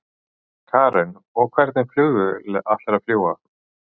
Karen: Og hvernig flugvél ætlarðu að fljúga?